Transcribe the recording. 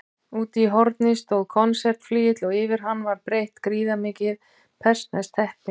Úti í horni stóð konsertflygill og yfir hann var breitt gríðarmikið persneskt teppi.